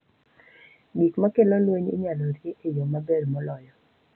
Gik ma kelo lweny inyalo rie e yo maber moloyo.